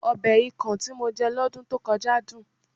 Ọbẹ̀ ikàn tí mo jẹ lọ́dún tó kọjá dùn